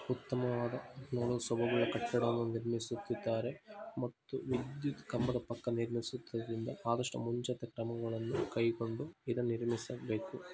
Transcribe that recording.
ಉತ್ತಮವಾದ ನೋಡಲು ಸೊಬಗಿನಂತಹ ಕಟ್ಟಡವನ್ನು ನಿರ್ಮಿಸುತ್ತಿದ್ದಾರೆ ಮತ್ತು ವಿದ್ಯುತ್ ಕಂಬದ ಪಕ್ಕದಲ್ಲಿ ಚಿಕ್ಕದಲ್ಲಿ ಆದಷ್ಟು ಮುಂಜಾಗ್ರತೆ ಕ್ರಮಗಳನ್ನು ಕೈಗೊಂಡು ಇದನ್ನು ನಿರ್ಮಿಸಲಾಗಿದೆ.